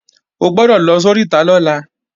O gbọ́dọ̀ lọ sóríta lọ́la